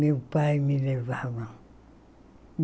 Meu pai me levava.